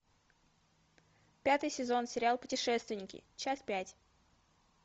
пятый сезон сериал путешественники часть пять